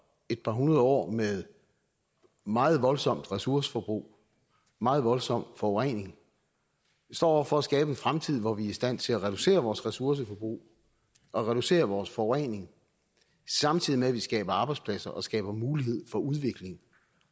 et par hundrede år med meget voldsomt ressourceforbrug meget voldsom forurening står over for at skabe en fremtid hvor vi i stand til at reducere vores ressourceforbrug og reducere vores forurening samtidig med at vi skaber arbejdspladser og skaber mulighed for udvikling